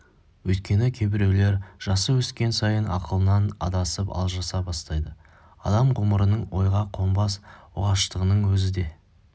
өйткені кейбіреулер жасы өскен сайын ақылынан адасып алжаса бастайды адам ғұмырының ойға қонбас оғаштығының өзі де